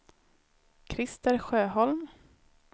Christer Sjöholm